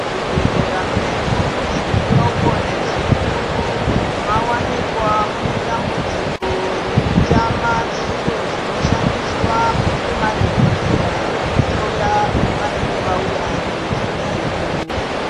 Zvibhedhlera medu zvidoko nezvikuru mawanikwa mune dambudziko rekutama zviro zvinoshandiswa nemadhokodheya kuhloya vanenge vauya nezvihlaiwo.